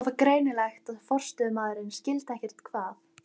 Það var greinilegt að forstöðumaðurinn skildi ekkert hvað